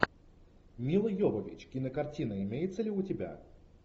мила йовович кинокартина имеется ли у тебя